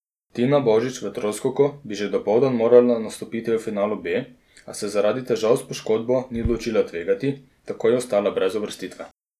Tina Božič v troskoku bi že dopoldan morala nastopiti v finalu B, a se zaradi težav s poškodbo ni odločila tvegati, tako je ostala brez uvrstitve.